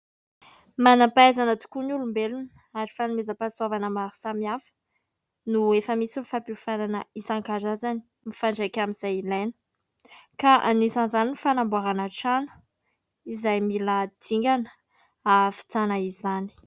Manam-pahaizana tokoa ny olombelona ary fanomezam-pahasoavana maro samihafa no efa misy ny fampiofanana isan-karazany mifandraika amin'izay ilaina, ka anisan'izany ny fanamboarana trano izay mila dingana ahavitana izany.